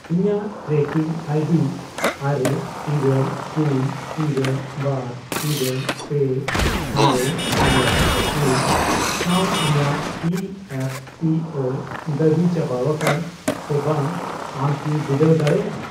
ᱤᱧᱟᱜ tracking ID ᱟᱨᱮ, ᱤᱨᱟᱹᱞ, ᱯᱩᱱ, ᱤᱨᱟᱹᱞ, ᱵᱟᱨ, ᱤᱨᱟᱹᱞ, ᱯᱮ, ᱟᱨᱮ, ᱮᱭᱟᱭ, ᱯᱩᱱ ᱥᱟᱶ ᱤᱧᱟᱜ ᱤ ᱮᱯ ᱯᱤ ᱳ ᱫᱟᱹᱵᱤ ᱪᱟᱵᱟᱣᱟᱠᱟᱱᱟ ᱥᱮ ᱵᱟᱝ ᱟᱢ ᱠᱤ ᱵᱤᱰᱟᱹᱣ ᱫᱟᱲᱮᱭᱟᱜᱼᱟ ?